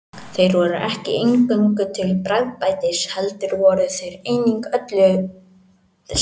Þeir voru ekki eingöngu til bragðbætis heldur vörðu þeir einnig ölið skemmdum.